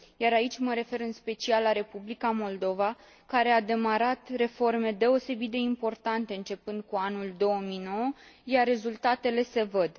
Aici mă refer în special la Republica Moldova, care a demarat reforme deosebit de importante începând cu anul 2009, iar rezultatele se văd.